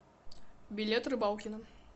билет рыбалкино